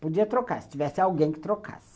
Podia trocar, se tivesse alguém que trocasse.